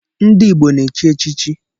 Ndị Igbo na-echi echichi